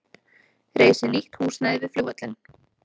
Reisi nýtt húsnæði við flugvöllinn